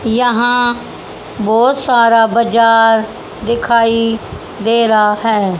यहां बहुत सारा बाजार दिखाई दे रा है।